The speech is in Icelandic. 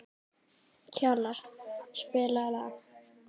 Kjalar, spilaðu lag.